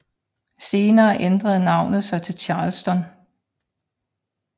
Senere ændrede navnet sig til Charleston